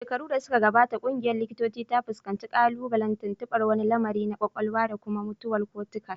Shekaru da suka gabata, ƙungiyar likitocin ta fuskanci ƙalubalen tuntuɓar wani lamari na kwakwalwa da kuma mutuwar cortical